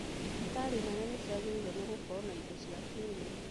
Thibitarĩ nene nĩciagĩrĩirwo nĩ gũkorwo na indo cia kĩrĩu